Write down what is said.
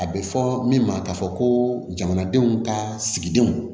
A bɛ fɔ min ma ka fɔ ko jamanadenw ka sigidenw